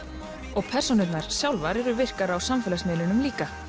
og persónurnar sjálfar eru virkar á samfélagsmiðlum líka